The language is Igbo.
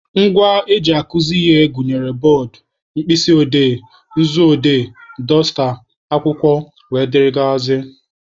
Ngwa eji akuzi ihe gụnyere bọọdụ, mkpịsị odee, nzu odee, dọsta, akwụkwọ wdg.